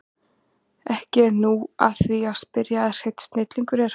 Ekki er nú að því að spyrja að hreinn snillingur er hann